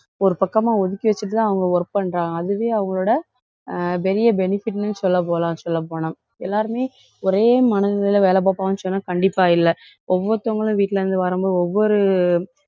ஒரு பக்கமா ஒதுக்கி வச்சுட்டுதான் அவங்க work பண்றாங்க. அதுவே அவங்களோட அஹ் பெரிய benefit ன்னு சொல்லப்போலாம், சொல்லப்போனால். எல்லாருமே, ஒரே மனநிலையில வேலை பார்ப்பாங்கன்னு சொன்னா கண்டிப்பா இல்லை. ஒவ்வொருத்தவங்களும் வீட்டுல இருந்து வரும்போது, ஒவ்வொரு